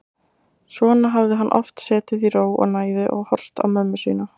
Svona hafði hann oft setið í ró og næði og horft á mömmu sína.